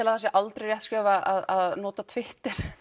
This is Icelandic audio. að það sé aldrei rétt skref að nota Twitter